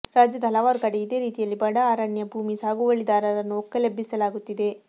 ರಾಜ್ಯದ ಹಲವಾರು ಕಡೆ ಇದೇ ರೀತಿಯಲ್ಲಿ ಬಡ ಅರಣ್ಯ ಭೂಮಿ ಸಾಗುವಳಿದಾರರನ್ನು ಒಕ್ಕಲೆಬ್ಬಿಸಲಾಗುತ್ತಿದೆ